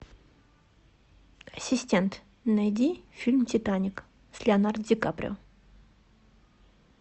ассистент найди фильм титаник с леонардо ди каприо